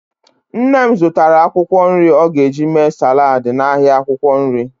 Nne m zụtara akwụkwọ nri ọ ga-eji mee saladị n'ahịa akwụkwọ nri.